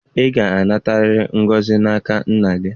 Ị ga-anatarịrị ngọzi n'aka nna gị!